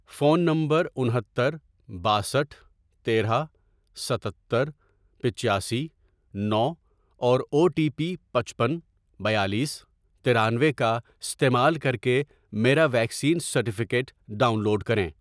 Phone نمبرانہتر، باسٹھ ،تیرہ، ستتر، پچاسی، نو اور او ٹی پی پچپن، بیالیس، ترانوے، کا استعمال کر کے میرا ویکسین سرٹیفکیٹ ڈاؤن لوڈ کریں۔